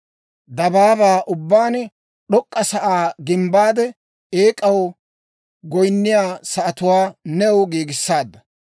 dabaabaa ubbaan d'ok'k'a sa'aa gimbbaade eek'aw goyinniyaa sa'atuwaa new giigissaadda.